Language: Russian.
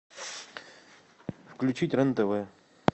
включить рен тв